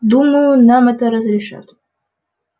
думаю нам это разрешат